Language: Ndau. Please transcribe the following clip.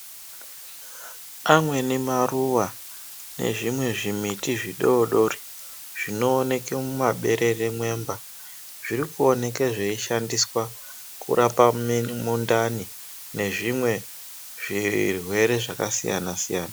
Amweni maruwa ,nezvimwe zvimiti zvidodori, zvinooneke mumaberere mwemba, zviri kuoneke zveishandiswa, kurapa mimundani ,nezvimwe zvirwere zvakasiya-nasiyana.